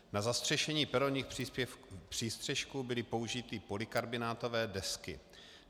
Na zastřešení peronních přístřešků byly použity polykarbonátové desky.